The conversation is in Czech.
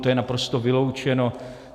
To je naprosto vyloučeno.